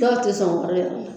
Dɔw te sɔn wari yɛrɛ la